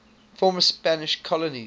former spanish colonies